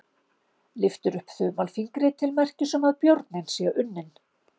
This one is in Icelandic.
Lyftir upp þumalfingri til merkis um að björninn sé unninn.